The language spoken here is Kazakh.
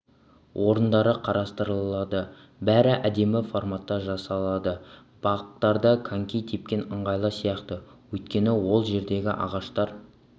орындары қарастырылады бәрі әдемі форматта жасалады бақтарда коньки тепкен ыңғайлы сияқты өйткені ол жердегі ағаштар